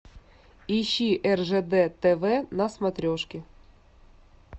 ищи ржд тв на смотрешке